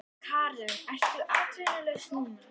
Karen: Ertu atvinnulaus núna?